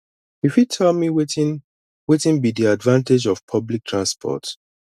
you fit tell me wetin wetin be di advantage of public transport